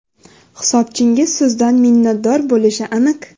Hisobchingiz sizdan minnatdor bo‘lishi aniq.